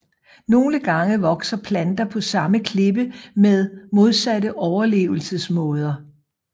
Nogle gange vokser planter på samme klippe med modsatte overlevelsesmåder